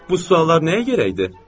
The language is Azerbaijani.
Bu suallar nəyə gərəkdir?